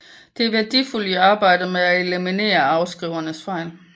Det er værdifuldt i arbejdet med at eliminere afskrivernes fejl